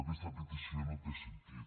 aquesta petició no té sentit